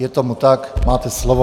Je tomu tak, máte slovo.